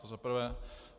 To za prvé.